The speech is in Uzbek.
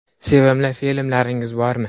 - Sevimli filmlaringiz bormi?